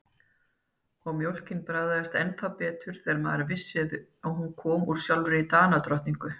Og mjólkin bragðaðist ennþá betur þegar maður vissi að hún kom úr sjálfri Danadrottningu.